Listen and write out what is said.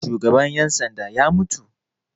Shugaban 'yan sanda ya mutu.